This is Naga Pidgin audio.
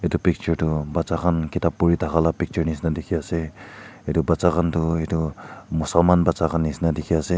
etu picture tu bacha khan kitab puri thaka la picture nishena dikhi ase etu bacha khan tu etu muselmaan bacha khan nishena dikhi ase.